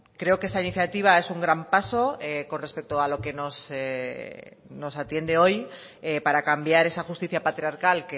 creo que esta iniciativa es un gran paso con respecto a lo que nos atiende hoy para cambiar esa justicia patriarcal